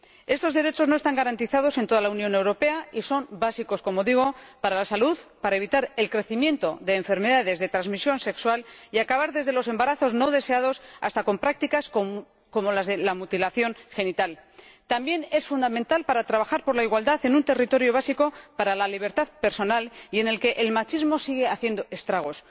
Estos derechos no están garantizados en toda la Unión Europea y son básicos para la salud, para evitar el aumento de las enfermedades de transmisión sexual y para acabar con desde los embarazos no deseados hasta prácticas como la mutilación genital, así como para trabajar por la igualdad en un terreno básico para la libertad personal y en el que el machismo sigue haciendo estragos.